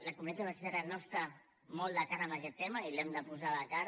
la comunitat universitària no està molt de cara a aquest tema i l’hem de posar de cara